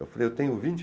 Eu falei, eu tenho vinte